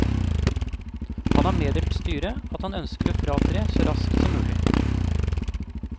Han har meddelt styret at han ønsker å fratre så raskt som mulig.